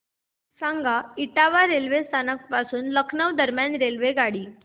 सांगा इटावा रेल्वे स्थानक पासून लखनौ दरम्यान रेल्वेगाडी